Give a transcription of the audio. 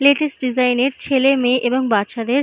latest design -এর ছেলে মেয়ে এবং বাচ্চাদের--